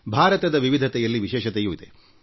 ಭಾರತದ ವೈವಿಧ್ಯತೆಯಲ್ಲಿ ವಿಶೇಷತೆಯಿದೆ